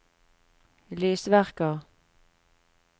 lysverker